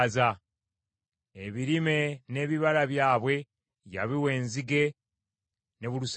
Ebirime n’ebibala byabwe yabiwa enzige ne bulusejjera.